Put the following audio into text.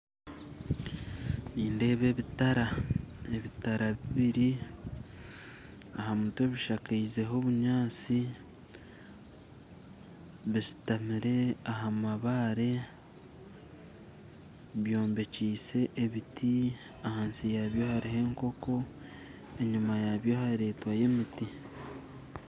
Nindeeba ebitara, ebitara bibiiri aha mutwe bishakizeho obunyaatsi bishutamire aha mabaare byombekyise ebiti ahansi yaabyo hariyo enkooko enyuma yaabyo haretwayo emiti